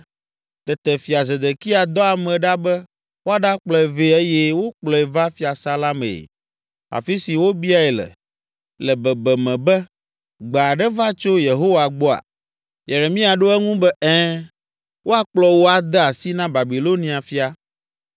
Tete Fia Zedekia dɔ ame ɖa be woaɖakplɔe vɛ eye wokplɔe va fiasã la mee, afi si wòbiae le, le bebeme be, “Gbe aɖe va tso Yehowa gbɔa?” Yeremia ɖo eŋu be, “Ɛ̃, woakplɔ wò ade asi na Babilonia fia.”